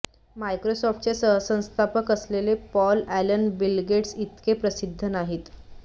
मायक्रोसॉफटचे सहसंस्थापक असलेले Paul Allen Bill Gates इतके प्रसिद्ध नाहीत